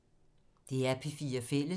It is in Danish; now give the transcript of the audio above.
DR P4 Fælles